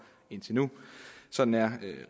indtil nu sådan er